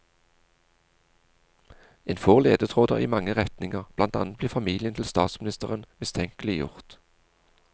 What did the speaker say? En får ledetråder i mange retninger, blant annet blir familien til statsministeren mistenkeliggjort.